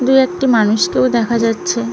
দুই একটি মানুষ কেও দেখা যাচ্ছে।